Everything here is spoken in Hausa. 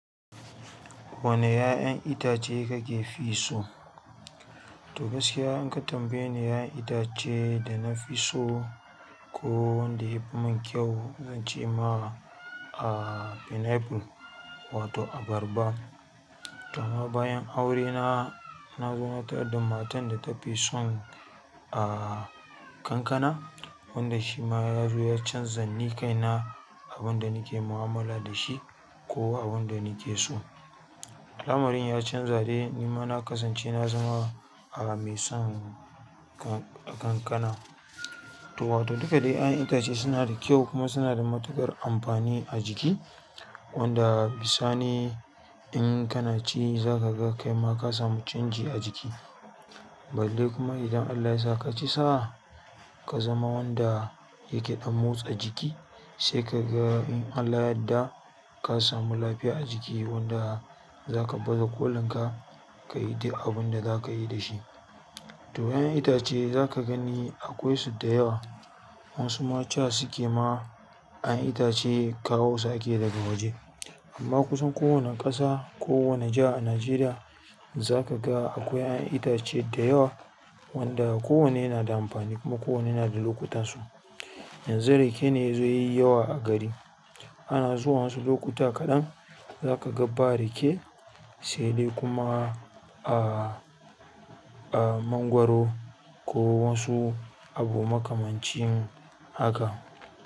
Wane 'ya 'yan itace kake fi so to gaskiya in ka tambaye ni 'ya'yan itace da na fi so ko wanda ya fi min kyau, zan ce ma pineapple wato abarba. To amma bayan aurena, na zo na tarar da matar da ta fi son, ah, kankana wanda shi ma ya zo ya canzan ni kaina abin da nake mu'amala da shi ko abin da nake so. Al amarin ya canza dai ni ma na kasance na zama, ah, mai son kan-kankana. To wato duka dai su 'ya 'yan itace sunada kyau kuma sunada matuƙar amfani a jiki wanda bisani in kana ci za kaga kaima ka samu canji a jiki balle kuma idan Allah yasa ka ci sa ka zama wanda yake ɗan motsa jiki sai ka ga in Allah yadda ka samu lafiya a jiki wanda za ka bazu kolin ka, ka yi duk abin da za ka yi da shi. To 'yan itace za ka gani akwai su da yawa. Wasu ma cewa suke ma 'yan itace kawo su ake daga waje. Amma kusan kowane ƙasa ko wane jiha a Najeriya za kaga akwai 'ya 'yan itace da yawa wanda kowanne yanada amfani kuma ko wanne yanada lokutan su yanzu rake ne yazo ya yi yawa a gari. Ah zuwan wasu lokuta kaɗan za ka ga ba rake sai dai kuma, ah, ah, mangwaro ko wasu abu makamancin haka.